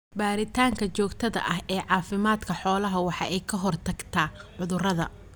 Baaritaanka joogtada ah ee caafimaadka xoolaha waxa ay ka hortagtaa cudurada.